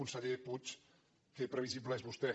conseller puig que previsible que és vostè